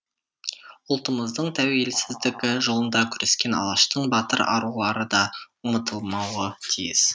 ұлтымыздың тәуелсіздігі жолында күрескен алаштың батыр арулары да ұмытылмауы тиіс